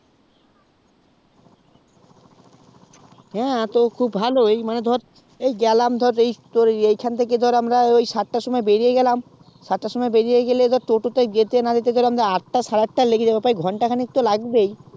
হ্যাঁ তো খুব ভালোই মানে ধর এই গেলাম ধরে এই খান থেকে ধরে আমরা সাত তার সময় ধরে বেরিয়ে গেলাম সাতটায় সময় বেরিয়ে গেলে ধরে টোটো তে যেতে না যেতেই ধরে আতটা সাড়ে আটটা লেগে যাবে তাই ঘন্টা খানিক তো লাগবেই